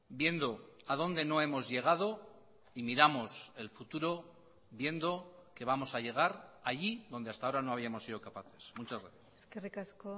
viendo a dónde no hemos llegado y miramos el futuro viendo que vamos a llegar allí donde hasta ahora no habíamos sido capaces muchas gracias eskerrik asko